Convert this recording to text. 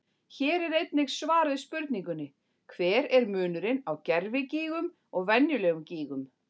Hér er einnig svar við spurningunni: Hver er munurinn á gervigígum og venjulegum gígum?